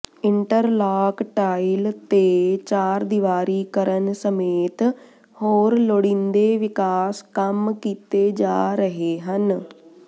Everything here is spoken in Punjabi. ਇੰਟਰਲਾਕ ਟਾਈਲ ਤੇ ਚਾਰਦੀਵਾਰੀ ਕਰਨ ਸਮੇਤ ਹੋਰ ਲੋੜੀਂਦੇ ਵਿਕਾਸ ਕੰਮ ਕੀਤੇ ਜਾ ਰਹੇ ਹਨ